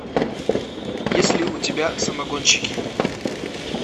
есть ли у тебя самогонщики